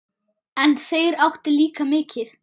En þeir áttu líka mikið.